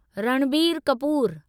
Ranbir Kapoor